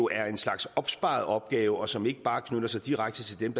er en slags opsparet opgave som ikke bare knytter sig direkte til dem